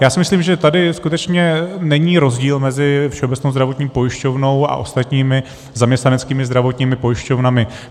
Já si myslím, že tady skutečně není rozdíl mezi Všeobecnou zdravotní pojišťovnou a ostatními, zaměstnaneckými zdravotními pojišťovnami.